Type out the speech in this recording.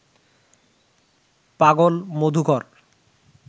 পাগল মধুকর